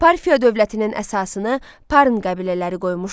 Parfiya dövlətinin əsasını Parn qəbilələri qoymuşdu.